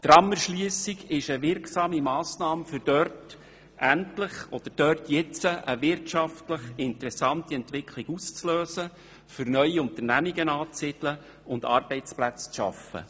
Die Tramerschliessung ist eine wirksame Massnahme, um dort endlich eine wirtschaftlich interessante Entwicklung auszulösen, um neue Unternehmungen anzusiedeln und Arbeitsplätze zu schaffen.